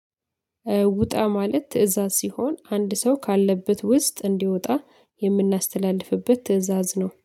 ውጣ ማለት ትእዛዝ ሲሆን፤ አንድ ሰው ካለበት ውስጥ እንዲወጣ የምናስተላልፍበት ትእዛዝ ነው።